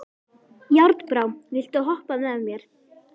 Járnbrá, viltu hoppa með mér?